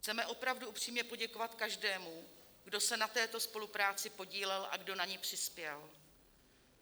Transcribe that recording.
Chceme opravdu upřímně poděkovat každému, kdo se na této spolupráci podílel a kdo na ni přispěl.